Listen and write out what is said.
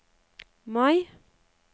Mai